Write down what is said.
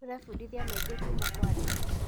Tũrebundithia maingĩ kuuma kwa andũ.